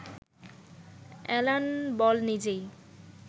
Alan Ball নিজেই